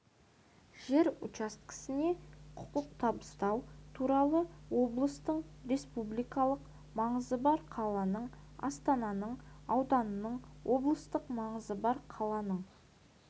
жер учаскесіне құқық табыстау туралы облыстың республикалық маңызы бар қаланың астананың ауданның облыстық маңызы бар қаланың